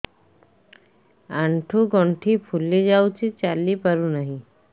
ଆଂଠୁ ଗଂଠି ଫୁଲି ଯାଉଛି ଚାଲି ପାରୁ ନାହିଁ